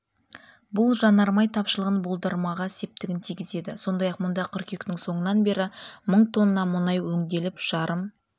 бұл жанармай тапшылығын болдырмауға септігін тигізеді сондай-ақ мұнда қыркүйектің соңынан бері мың тонна мұнай өңделіп жарым